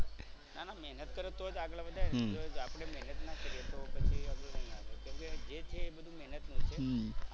ના ના મહેનત કરે તો જ આગળ વધાય ને જો આપડે મહેનત ના કરીએ તો પછી આગળ ના આવી કેમ કે જે છે એ બધુ મહેનત નું છે.